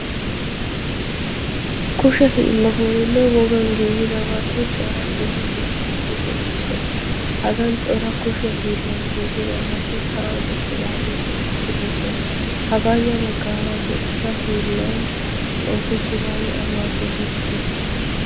kusha hiillatooninne wogan giigidabati cora dumma dumma woti deioossona hagan cora kushiya hiillan giigidawati sa'an uttidaagee de'i oosona hagaayya baggaara de'iya hiillan oosettidaagee awaa geetettii?